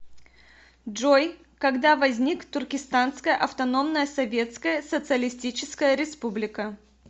джой когда возник туркестанская автономная советская социалистическая республика